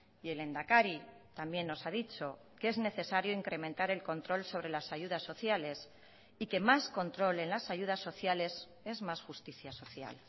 y el lehendakari también nos ha dicho que es necesario incrementar el control sobre las ayudas sociales y que más control en las ayudas sociales es más justicia social